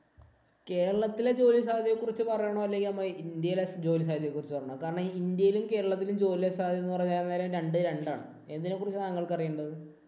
കേരളത്തിലെ ജോലിസാധ്യതയെ കുറിച്ച് പറയണോ? അല്ലെങ്കി ഇന്‍ഡ്യയിലെ ജോലി സാധ്യതയെ കുറിച്ച് പറയണോ? കാരണം ഇന്‍ഡ്യയിലെയും, കേരളത്തിലെയും ജോലിസാധ്യത എന്ന് പറയുന്നത് രണ്ടും രണ്ടാണ്. ഏതിനെ കുറിച്ചാണ് താങ്കള്‍ക്ക് അറിയേണ്ടത്?